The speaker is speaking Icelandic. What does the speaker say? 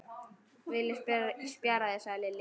Villi spjarar sig, sagði Lilli.